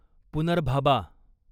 पुनर्भाबा